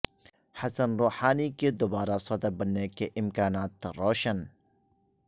حسن Rouhani کے دوبارہ صدر بننے کے امکانات روشن